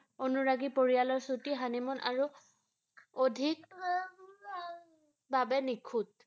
অনুৰাগী পৰিয়ালৰ ছুটী, হানিমুন আৰু অধিক, বাবে নিখুঁত ৷